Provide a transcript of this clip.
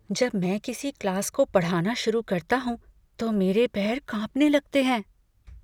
जब मैं किसी क्लास को पढ़ाना शुरू करता हूँ तो मेरे पैर कांपने लगते हैं।